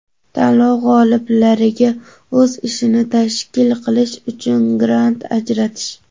tanlov g‘oliblariga o‘z ishini tashkil qilish uchun grant ajratish;.